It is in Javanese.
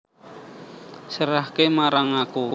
Serahke marang aku